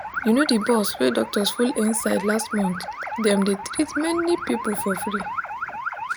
you know the bus wey doctors full inside last month them dey treat many people for free